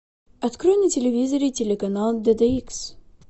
открой на телевизоре телеканал дд икс